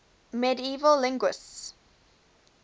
medieval linguists